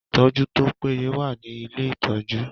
Ìtọ́jú tó pé ye wà ní ilé-ìtọ́jú.